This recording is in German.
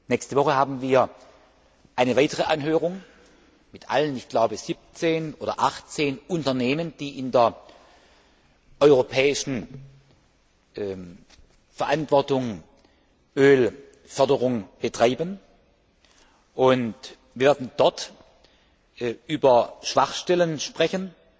Nächste Woche haben wir eine weitere Anhörung mit allen, ich glaube 17 oder 18 Unternehmen, die in der europäischen Verantwortung Ölförderung betreiben, und werden dort über Schwachstellen sprechen.